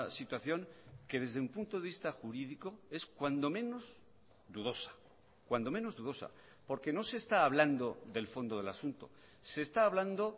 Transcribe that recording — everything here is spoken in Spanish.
situación que desde un punto de vista jurídico es cuando menos dudosa cuando menos dudosa porque no se está hablando del fondo del asunto se está hablando